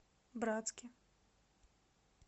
братске